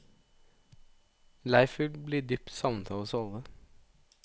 Leif vil bli dypt savnet av oss alle.